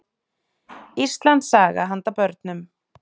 Íslandssaga handa börnum.